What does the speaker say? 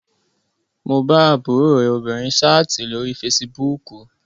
Mo bá àbúrò rẹ obìnrin sáàtì lórí fesibúùkù